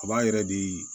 A b'a yɛrɛ di